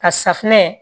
Ka safunɛ